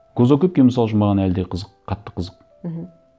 госзакупки мысал үшін маған әлі де қызық қатты қызық мхм